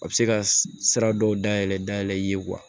A bɛ se ka sira dɔw dayɛlɛ dayɛlɛ i ye wa